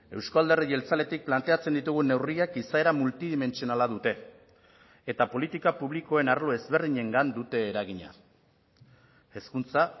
euzko alderdi jeltzaletik planteatzen ditugun neurriak izaera multidimentsionala dute eta politika publikoen arlo ezberdinengan dute eragina hezkuntza